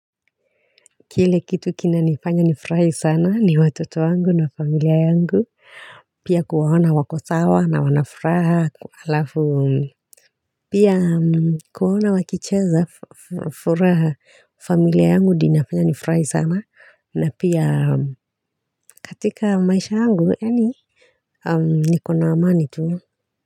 Kile kitu kinanifanya nifurahi sana ni watoto wangu na familia wangu Pia kuwaona wako sawa na wana furaha alafu Pia kuwaona wakicheza furaha familia yangu ndio inafanya nifurahi sana na pia katika maisha wangu niko na amani tu.